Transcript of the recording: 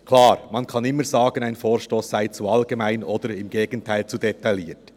Klar, man kann immer sagen, ein Vorstoss sei zu allgemein oder im Gegenteil zu detailliert.